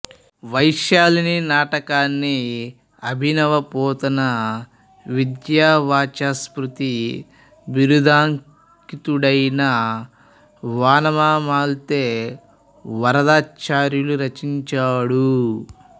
వైశాలిని నాటకాన్ని అభినవపోతన విద్యావాచస్పతి బిరుదాంకితుడైన వానమామలై వరదాచార్యులు రచించాడు